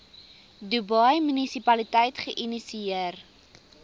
dubai munisipaliteit geïnisieer